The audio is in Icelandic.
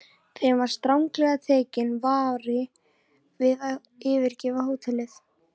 Þeim var stranglega tekinn vari við að yfirgefa hótelið.